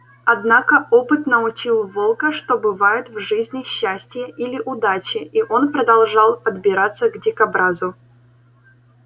однако опыт научил волка что бывает в жизни счастье или удача и он продолжал подбираться к дикобразу